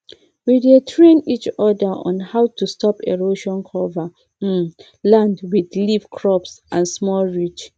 we dey train each other on how to stop erosion cover um land with leaf crops and small ridge